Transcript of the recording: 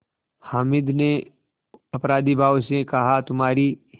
हामिद ने अपराधीभाव से कहातुम्हारी